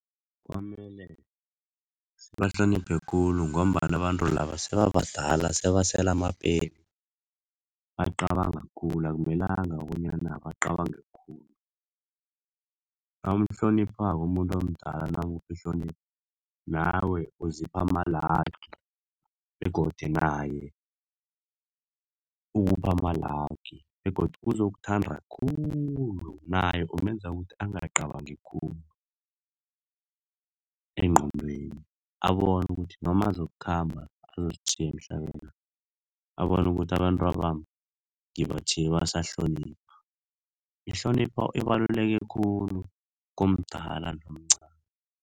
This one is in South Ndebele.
Kwamele sibahloniphe khulu ngombana abantu laba sebabadala, sebasela amapeli, bacabanga khulu. Akumelanga bonyana bacabanga khulu. Nawumhloniphako umuntu omdala nawumupha ihlonipho, nawe uzipha amalagi begodu naye ukupha amalagi begodu uzokuthanda khulu, naye umenza ukuthi angakacabangi khulu engqondweni. Abone ukuthi noma azokukhamba azositjhiya emhlabeni, abone ukuthi abantwabami ngibatjhiye basahlonipha. Ihlonipho ibaluleke khulu komdala nomcani.